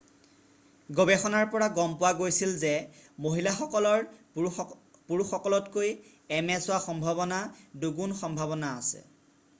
গৱেষণাৰ পৰা গম পোৱা গৈছিল যে মহিলাসকলৰ পুৰুষসকলতকৈ ms হোৱা সম্ভাৱনা 2 গুণ সম্ভাৱনা আছে৷